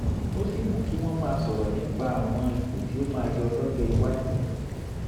ó sì mú kí wọ́n máa sọ̀rọ̀ nípa àwọn ipò tí ó máa yọ lọ́jọ́ iwájú